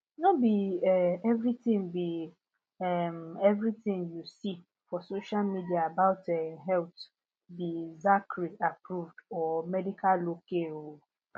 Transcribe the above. no be um everything be um everything you see for social media about um health be zacharyapproved or medical ok um